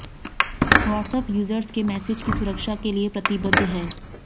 WhatsApp users के message की सुरक्षा के लिए प्रतिबद्ध है